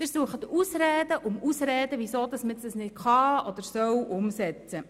Sie suchen Ausrede um Ausrede, weshalb man das nicht umsetzen kann oder soll.